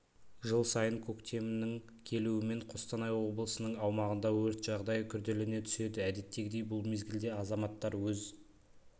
жыл сайын көктемнің келуімен қостанай облысының аумағында өрт жағдайы күрделене түседі әдеттегідей бұл мезгілде азаматтар өз